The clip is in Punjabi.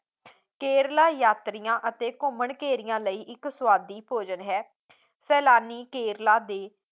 ਕੇਰਲਾ ਯਾਤਰੀਆਂ ਅਤੇ ਘੁਮੰਘਰਿਆਂ ਲਈ ਇੱਕ ਸੁਆਦੀ ਭੋਜਨ ਹੈ ਸੈਲਾਨੀ ਕੇਰਲਾ ਦੇ